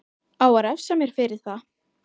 Á að refsa mér fyrir það?